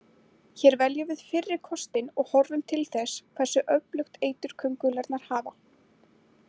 Hér veljum við fyrri kostinn og horfum til þess hversu öflugt eitur köngulærnar hafa.